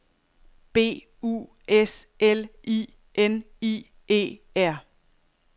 B U S L I N I E R